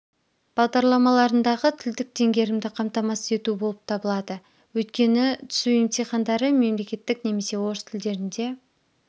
бағдарламаларындағы тілдік теңгерімді қамтамасыз ету болып табылады өйткені түсу емтихандары мемлекеттік немесе орыс тілдерінде